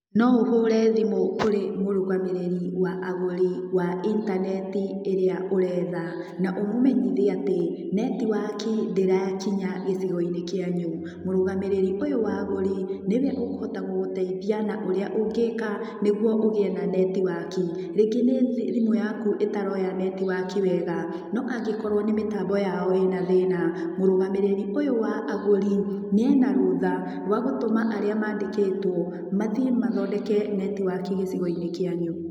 No ũhũre thimũ kũrĩ mũrũgamĩrĩri wa agũri wa intaneti ĩrĩa ũretha na ũmũmenyithie atĩ network ndĩrakinya gĩgigo-inĩ kĩanyu, mũrũgamĩrĩri ũyũ wa agũri nĩwe ũkũhota gũgũteithia na ũrĩa ũngĩka nĩguo ũgĩe na network rĩngĩ nĩ thimũ yaku ĩtaroya network wega no angĩkorwo nĩ mĩtambo yao ĩna thĩna mũrũgamĩrĩri ũyũ wa agũri nĩ ena rũtha wa gũtũma arĩa mandĩkĩtwo mathiĩ mathondeke network gĩcigo-inĩ kĩanyu.